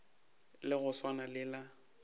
la go swana le la